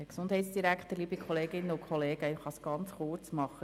Daher kann ich es ganz kurz machen.